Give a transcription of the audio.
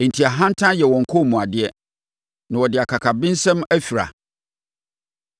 Enti, ahantan yɛ wɔn kɔnmuadeɛ, na wɔde akakabensɛm afira.